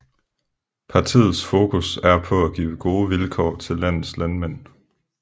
Partiets fokus er på at give gode vilkår til landets landmænd